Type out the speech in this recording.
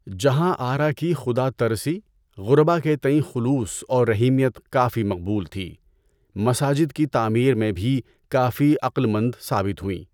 جہاں آرا کی خدا ترسی، غربا کے تئیں خلوص و رحیمیت کافی مقبول تھی۔ مساجد کی تعمیر میں بھی کافی عقل مند ثابث ہوئیں۔